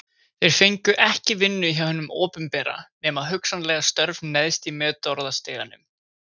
Þeir fengu ekki vinnu hjá hinu opinbera, nema hugsanlega störf neðst í metorðastiganum.